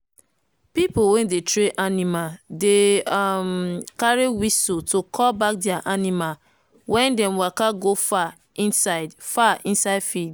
pipo wey dey train animal dey um carry whistle to call back their animal when dem waka go far inside far inside field.